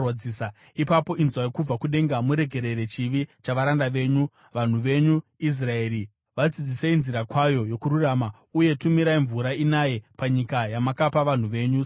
ipapo inzwai kubva kudenga muregerere chivi chavaranda venyu, vanhu venyu Israeri. Vadzidzisei nzira kwayo yokururama, uye tumirai mvura inaye panyika yamakapa vanhu venyu senhaka.